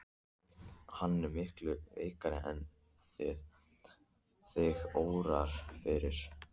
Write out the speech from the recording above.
Hann er miklu veikari en þig órar fyrir.